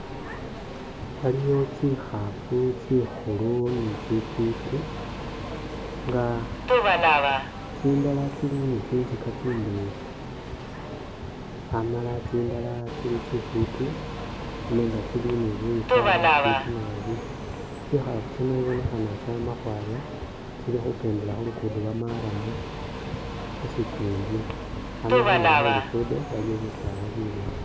Waliyo tsihafu tsi'khulu ni tsi'fwiti, nga tsindala tsili ni tsinzika tsindeyi, amala tsindala tsili tsi'fwiti nenga tsili ni buyika bufwiti nabi, tsihafu tsino ibonekhana tsama khwaya, tsili khukendela khu lugudo lwo marrum, khusikingi amala khundulo Khwe lukudo waliwo bisaala bileyi